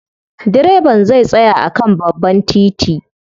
Direban zai tsaya a kan babban titi.